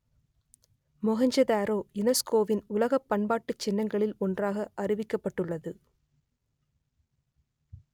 மொகெஞ்சதாரோ யுனெஸ்கோவின் உலகப் பண்பாட்டுச் சின்னங்களில் ஒன்றாக அறிவிக்கப்பட்டுள்ளது